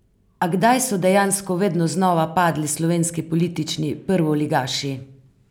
A kdaj so dejansko vedno znova padli slovenski politični prvoligaši?